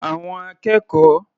Àwọn akẹ́kọ̀ọ́